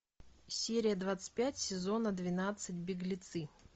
серия двадцать пять сезона двенадцать беглецы